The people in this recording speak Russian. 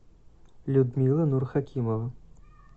людмила нурхакимова